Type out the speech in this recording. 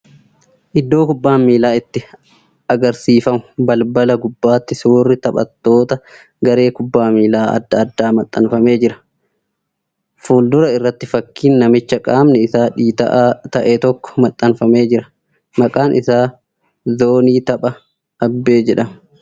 Iddoo kubbaan miilaa itti agarsiifamu balbala gubbaatti suurri taphattoota garee kubbaa miilaa adda addaa maxxanfamee jira. Fuuldura irratti fakkiin namicha qaamni isaa dhiita'aa ta'e tokkoo maxxanfamee jira. Maqaan isaa zoonii taphaa Abbee jedhama.